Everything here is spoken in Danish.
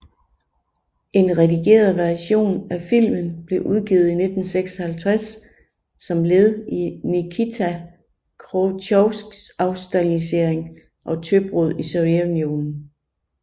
En redigeret version af filmen blev udgivet i 1956 som led i Nikita Khrusjtjovs afstalinisering og tøbrud i Sovjetunionen